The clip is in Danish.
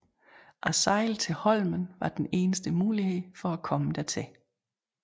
At sejle til Holmen var den eneste mulighed for at komme dertil